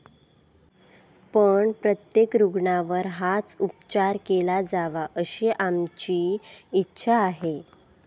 पण, प्रत्येक रुग्णावर हाच उपचार केला जावा अशी आमची इच्छा आहे.